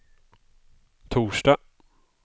torsdag